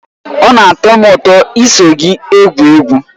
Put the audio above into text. Ọ na-atọ m ụtọ iso gị egwu egwu.